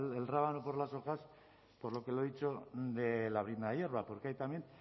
el rábano por las hojas por lo que le he dicho de la brizna de hierba porque ahí también